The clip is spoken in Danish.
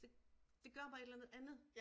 Så det gør bare et eller andet andet